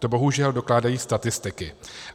To bohužel dokládají statistiky.